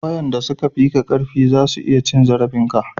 wayanda su ka fi ka karfi za su iya cin zarafin ka